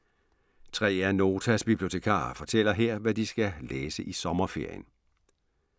Tre af Notas bibliotekarer fortæller her, hvad de skal læse i sommerferien.